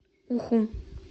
уху